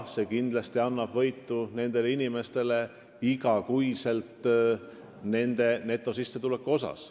Need inimesed võidavad kindlasti sellest muudatusest igakuise netosissetuleku mõttes.